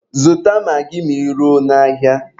Zụta magị ma ị ruo n'ahịa!